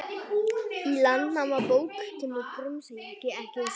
Í Landnámabók kemur Grímsey ekki við sögu.